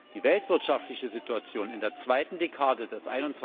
Die weltwirtschaftliche Situation in der zweiten Dekade des